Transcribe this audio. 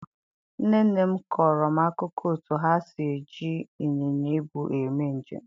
nne nne m kọrọ m akụkọ otú ha si eji ịnyịnya ibu eme njem.